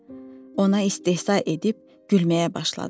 Ona istehza edib gülməyə başladılar.